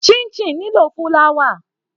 Chinchin nílò fúláwà.